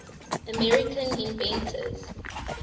american inventors